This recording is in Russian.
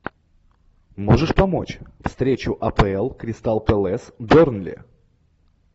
можешь помочь встречу апл кристал пэлас бернли